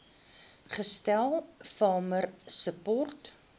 gestel farmer support